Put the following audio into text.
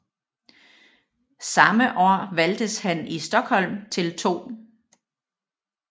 Samme år valgtes han i Stockholm til 2